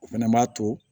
O fɛnɛ b'a to